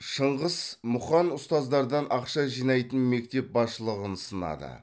шыңғыс мұқан ұстаздардан ақша жинайтын мектеп басшылығын сынады